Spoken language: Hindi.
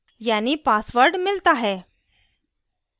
यानी passwords मिलता है